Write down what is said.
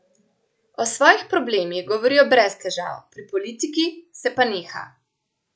O svojih problemih govorijo brez težav, pri politiki se pa neha.